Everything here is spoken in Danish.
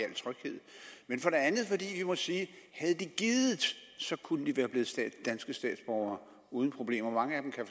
i må sige at havde de gidet kunne de været blevet danske statsborgere uden problemer mange af dem kan